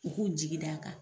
U k'u jigi d'a kan.